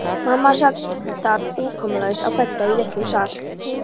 Mamma sat þar umkomulaus á bedda í litlum sal.